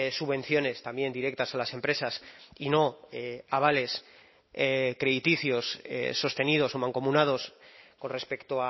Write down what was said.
subvenciones también directas a las empresas y no avales crediticios sostenidos o mancomunados con respecto